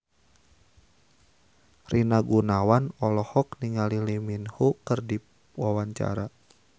Rina Gunawan olohok ningali Lee Min Ho keur diwawancara